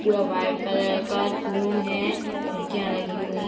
पूरा white colour का room है खिड़कियाँ लगी हुई --